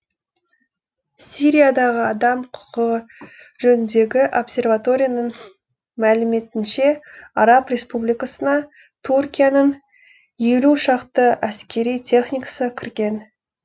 сириядағы адам құқығы жөніндегі обсерваторияның мәліметінше араб республикасына туркияның елу шақты әскери техникасы кірген